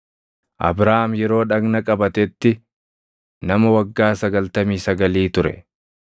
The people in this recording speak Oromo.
Abrahaam yeroo dhagna qabatetti nama waggaa sagaltamii sagalii ture.